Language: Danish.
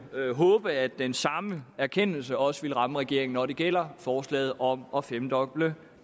håbe at den samme erkendelse også ville ramme regeringen når det gælder forslaget om at femdoble